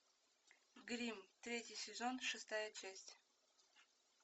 гримм третий сезон шестая часть